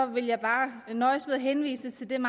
vil jeg bare nøjes med at henvise til den